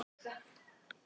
Öll ævin er dauði.